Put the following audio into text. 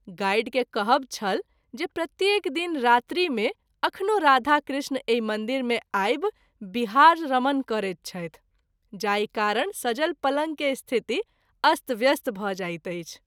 Guide के कहब छल जे प्रत्येक दिन रात्रि मे अखनो राधा कृष्ण एहि मंदिर मे आबि बिहार/ रमन करैत छथि जाहि कारण सजल पलंग के स्थिति अस्त व्यस्त भ’ जाइत अछि।